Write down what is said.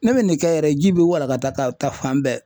Ne bɛ nin kɛ yɛrɛ ji bɛ walaka ka taa fan bɛɛ.